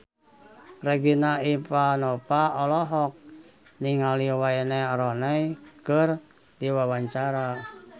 Regina Ivanova olohok ningali Wayne Rooney keur diwawancara